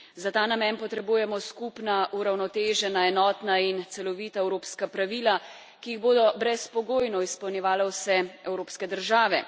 Za ta namen potrebujemo skupna, uravnotežena, enotna in celovita evropska pravila, ki jih bodo brezpogojno izpolnjevale vse evropske države.